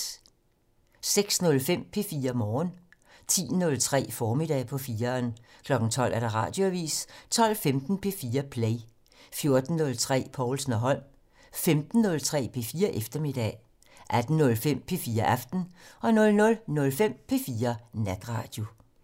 06:05: P4 Morgen 10:03: Formiddag på 4'eren 12:00: Radioavisen 12:15: P4 Play 14:03: Povlsen og Holm 15:03: P4 Eftermiddag 18:05: P4 Aften 00:05: P4 Natradio